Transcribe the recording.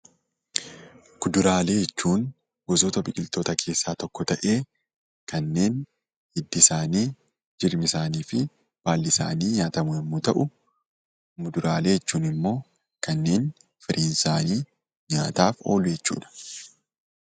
Kuduraalee jechuun gosoota biqiloota keessaa tokko ta'ee kanneen hiddi isaanii, jirmi isaanii fi baalli isaanii nyaatamu yemmuu ta'u, Muduraalee jechuun immoo kan firiin isaanii nyaatamu jechuudha.